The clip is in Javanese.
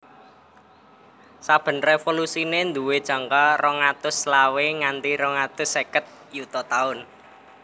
Saben révolusiné duwé jangka rong atus selawe nganti rong atus seket yuta taun